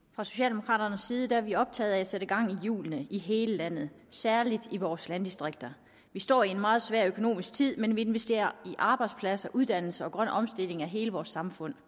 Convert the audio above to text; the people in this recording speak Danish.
fra socialdemokraternes side er vi optaget af at sætte gang i hjulene i hele landet særlig i vores landdistrikter vi står i en meget svær økonomisk tid men vi investerer i arbejdspladser uddannelse og grøn omstilling af hele vores samfund